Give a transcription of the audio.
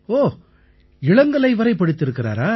ஓ இளங்கலை வரை படித்திருக்கிறாரா